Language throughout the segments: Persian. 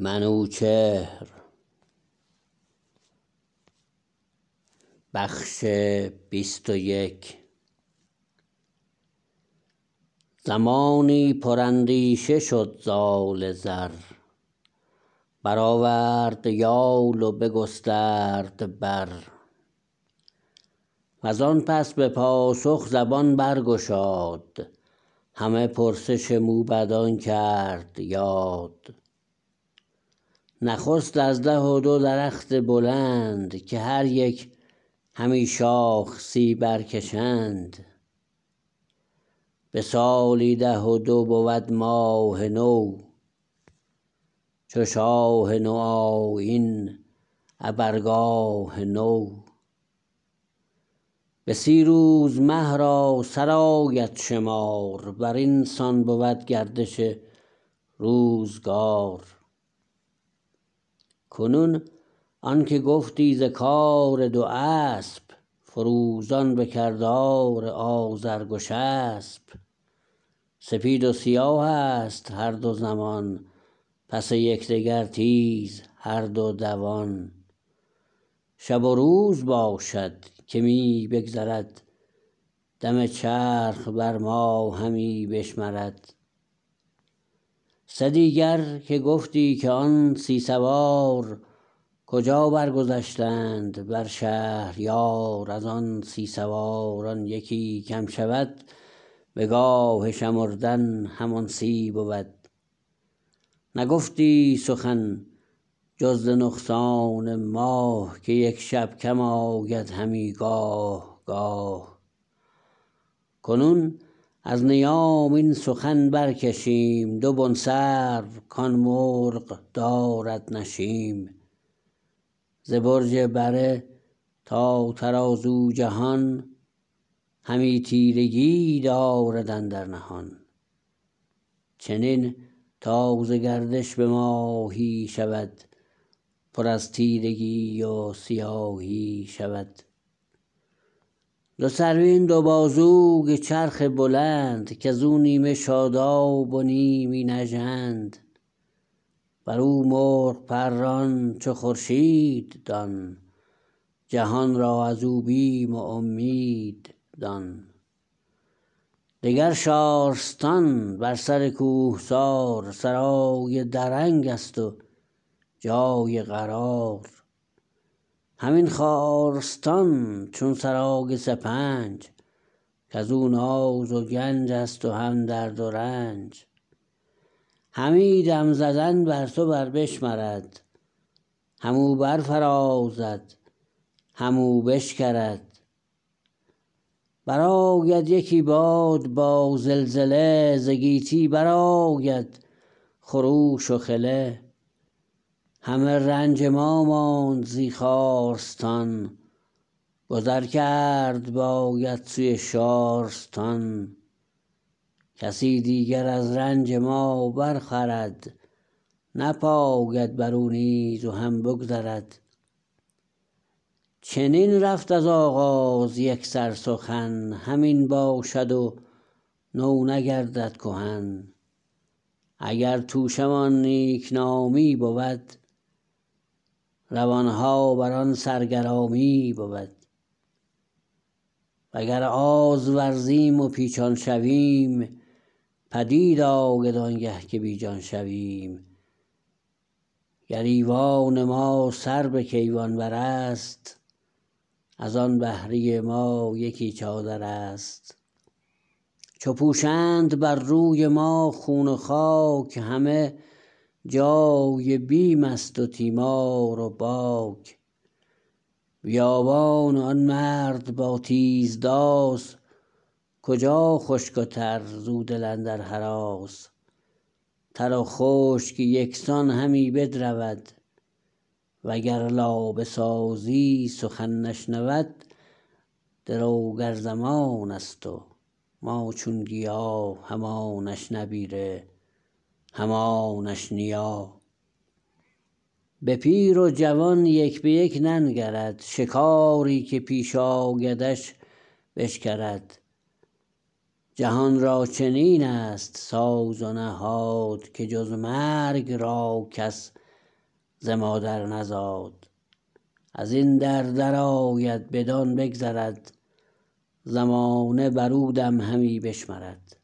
زمانی پر اندیشه شد زال زر برآورد یال و بگسترد بر وزان پس به پاسخ زبان برگشاد همه پرسش موبدان کرد یاد نخست از ده و دو درخت بلند که هر یک همی شاخ سی برکشند به سالی ده و دو بود ماه نو چو شاه نو آیین ابر گاه نو به سی روز مه را سرآید شمار برین سان بود گردش روزگار کنون آنکه گفتی ز کار دو اسپ فروزان به کردار آذرگشسپ سپید و سیاهست هر دو زمان پس یکدگر تیز هر دو دوان شب و روز باشد که می بگذرد دم چرخ بر ما همی بشمرد سدیگر که گفتی که آن سی سوار کجا برگذشتند بر شهریار ازان سی سواران یکی کم شود به گاه شمردن همان سی بود نگفتی سخن جز ز نقصان ماه که یک شب کم آید همی گاه گاه کنون از نیام این سخن برکشیم دو بن سرو کان مرغ دارد نشیم ز برج بره تا ترازو جهان همی تیرگی دارد اندر نهان چنین تا ز گردش به ماهی شود پر از تیرگی و سیاهی شود دو سرو ای دو بازوی چرخ بلند کزو نیمه شادب و نیمی نژند برو مرغ پران چو خورشید دان جهان را ازو بیم و امید دان دگر شارستان بر سر کوهسار سرای درنگست و جای قرار همین خارستان چون سرای سپنج کزو ناز و گنجست و هم درد و رنج همی دم زدن بر تو بر بشمرد هم او برفرازد هم او بشکرد برآید یکی باد با زلزله ز گیتی برآید خروش و خله همه رنج ما ماند زی خارستان گذر کرد باید سوی شارستان کسی دیگر از رنج ما برخورد نپاید برو نیز و هم بگذرد چنین رفت از آغاز یکسر سخن همین باشد و نو نگردد کهن اگر توشه مان نیکنامی بود روانها بران سر گرامی بود و گر آز ورزیم و پیچان شویم پدید آید آنگه که بیجان شویم گر ایوان ما سر به کیوان برست ازان بهره ما یکی چادرست چو پوشند بر روی ما خون و خاک همه جای بیمست و تیمار و باک بیابان و آن مرد با تیز داس کجا خشک و تر زو دل اندر هراس تر و خشک یکسان همی بدرود وگر لابه سازی سخن نشنود دروگر زمانست و ما چون گیا همانش نبیره همانش نیا به پیر و جوان یک به یک ننگرد شکاری که پیش آیدش بشکرد جهان را چنینست ساز و نهاد که جز مرگ را کس ز مادر نزاد ازین در درآید بدان بگذرد زمانه برو دم همی بشمرد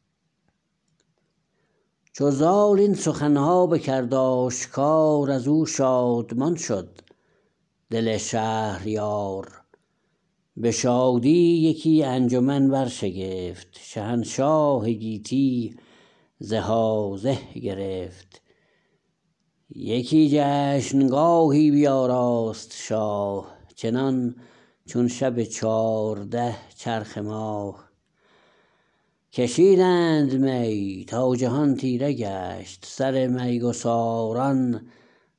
چو زال این سخنها بکرد آشکار ازو شادمان شد دل شهریار به شادی یکی انجمن برشگفت شهنشاه گیتی زهازه گرفت یکی جشنگاهی بیاراست شاه چنان چون شب چارده چرخ ماه کشیدند می تا جهان تیره گشت سرمیگساران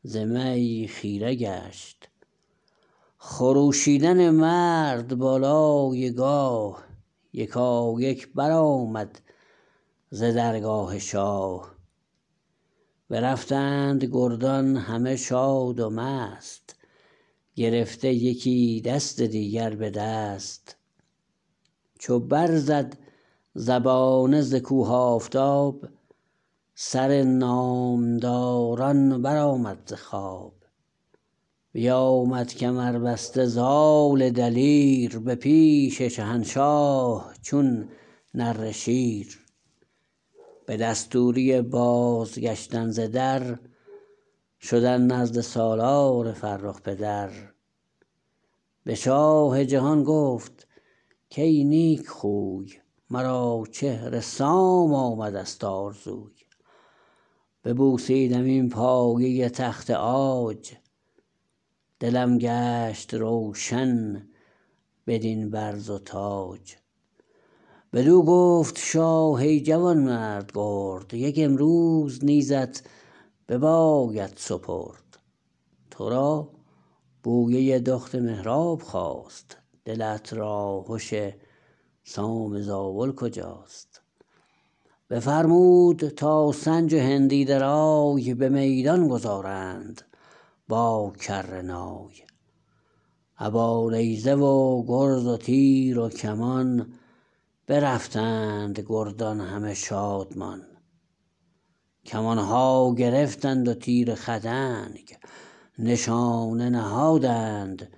ز می خیره گشت خروشیدن مرد بالای گاه یکایک برآمد ز درگاه شاه برفتند گردان همه شاد و مست گرفته یکی دست دیگر به دست چو برزد زبانه ز کوه آفتاب سر نامدران برآمد ز خواب بیامد کمربسته زال دلیر به پیش شهنشاه چون نره شیر به دستوری بازگشتن ز در شدن نزد سالار فرخ پدر به شاه جهان گفت کای نیکخوی مرا چهر سام آمدست آرزوی ببوسیدم این پایه تخت عاج دلم گشت روشن بدین برز و تاج بدو گفت شاه ای جوانمرد گرد یک امروز نیزت بباید سپرد ترا بویه دخت مهراب خاست دلت راهش سام زابل کجاست بفرمود تا سنج و هندی درای به میدان گذارند با کره نای ابا نیزه و گرز و تیر و کمان برفتند گردان همه شادمان کمانها گرفتند و تیر خدنگ نشانه نهادند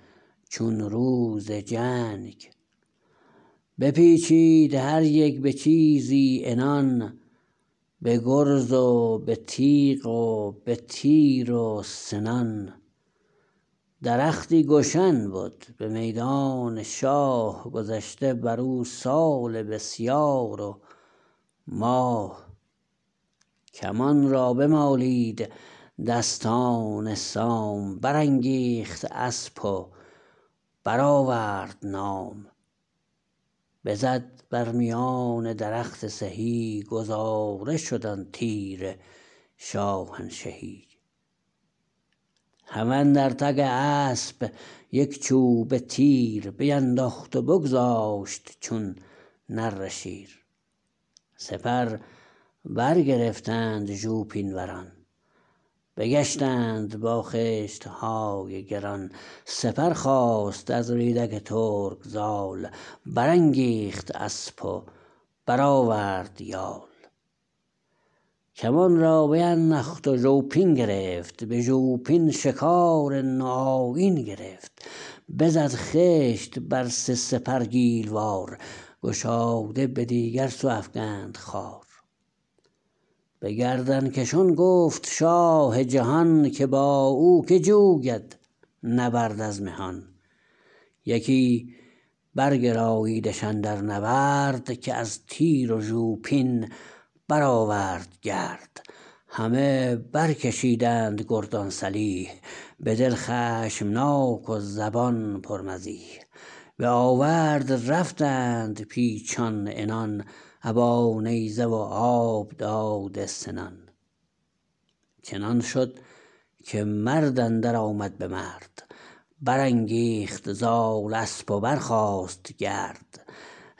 چون روز جنگ بپیچید هر یک به چیزی عنان به گرز و به تیغ و به تیر و سنان درختی گشن بد به میدان شاه گذشته برو سال بسیار و ماه کمان را بمالید دستان سام برانگیخت اسپ و برآورد نام بزد بر میان درخت سهی گذاره شد آن تیر شاهنشهی هم اندر تگ اسپ یک چوبه تیر بینداخت و بگذاشت چون نره شیر سپر برگرفتند ژوپین وران بگشتند با خشتهای گران سپر خواست از ریدک ترک زال برانگیخت اسپ و برآورد یال کمان را بینداخت و ژوپین گرفت به ژوپین شکار نوآیین گرفت بزد خشت بر سه سپر گیل وار گشاده به دیگر سو افگند خوار به گردنکشان گفت شاه جهان که با او که جوید نبرد از مهان یکی برگراییدش اندر نبرد که از تیر و ژوپین برآورد گرد همه برکشیدند گردان سلیح بدل خشمناک و زبان پر مزیح به آورد رفتند پیچان عنان ابا نیزه و آب داده سنان چنان شد که مرد اندر آمد به مرد برانگیخت زال اسپ و برخاست گرد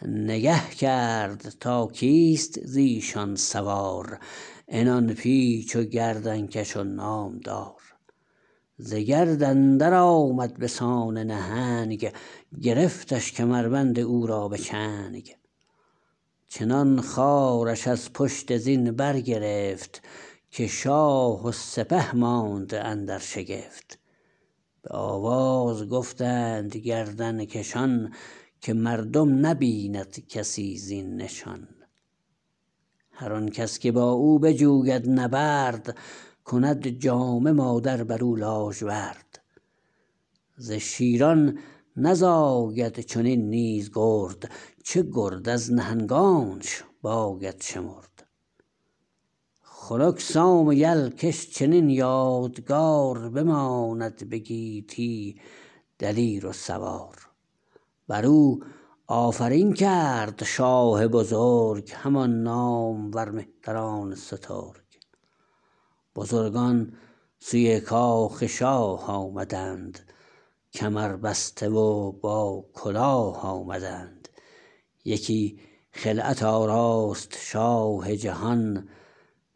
نگه کرد تا کیست زیشان سوار عنان پیچ و گردنکش و نامدار ز گرد اندر آمد بسان نهنگ گرفتش کمربند او را به چنگ چنان خوارش از پشت زین برگرفت که شاه و سپه ماند اندر شگفت به آواز گفتند گردنکشان که مردم نبیند کسی زین نشان هر آن کس که با او بجوید نبرد کند جامه مادر برو لاژورد ز شیران نزاید چنین نیز گرد چه گرد از نهنگانش باید شمرد خنک سام یل کش چنین یادگار بماند به گیتی دلیر و سوار برو آفرین کرد شاه بزرگ همان نامور مهتران سترگ بزرگان سوی کاخ شاه آمدند کمر بسته و با کلاه آمدند یکی خلعت آراست شاه جهان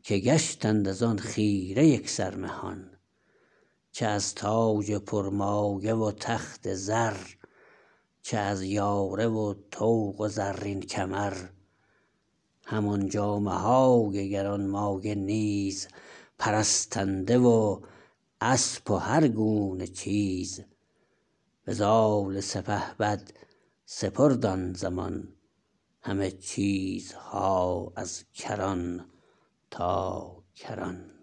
که گشتند ازان خیره یکسر مهان چه از تاج پرمایه و تخت زر چه از یاره و طوق و زرین کمر همان جامه های گرانمایه نیز پرستنده و اسپ و هر گونه چیز به زال سپهبد سپرد آن زمان همه چیزها از کران تا کران